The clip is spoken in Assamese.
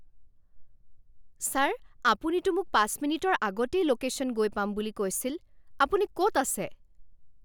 ছাৰ আপুনিতো মোক পাঁচ মিনিটৰ আগতেই ল'কেশ্যন গৈ পাম বুলি কৈছিল। আপুনি ক'ত আছে?